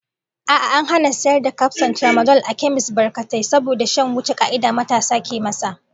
A'a, an hana sayar da kafson tramadol a kemis batkatai saboda shan wuce ka'ida matasa ke masa,